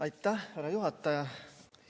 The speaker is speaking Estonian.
Aitäh, härra juhataja!